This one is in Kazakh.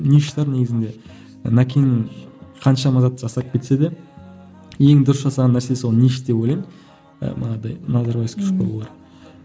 ниш тар негізінде нәкеңнің қаншама зат жасап кетсе де ең дұрыс жасаған нәрсесі ол ниш деп ойлаймын назарбаевский школалар